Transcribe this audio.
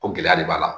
Ko gɛlɛya de b'a la